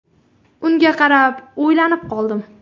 Unga qarab o‘ylanib qoldim.